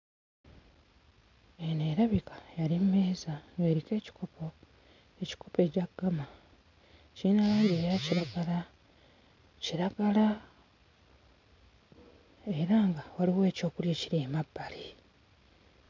Eno erabika yali mmeeza ng'eriko ekikopo, ekikopo ekya ggama. Kirina langi eya kiragala, kiragala era nga waliwo ekyokulya ekiri emabbali.